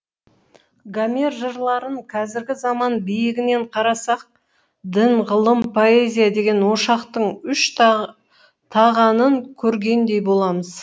гомер жырларын қазіргі заман биігінен қарасақ дін ғылым поэзия деген ошақтың үш тағанын көргендей боламыз